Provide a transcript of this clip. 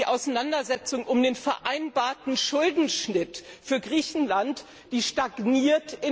Die Auseinandersetzung um den vereinbarten Schuldenschnitt für Griechenland stagniert.